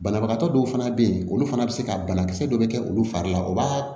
Banabagatɔ dɔw fana bɛ yen olu fana bɛ se ka banakisɛ dɔ bɛ kɛ olu fari la o b'a